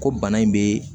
Ko bana in bɛ